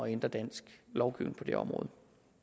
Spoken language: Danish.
ændre dansk lovgivning på det område